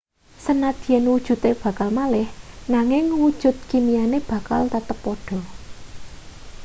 sanadyan wujude bakal malih nanging wujud kimiane bakal tetep padha